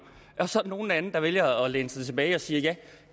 og så er der nogle lande der vælger at læne sig tilbage og sige at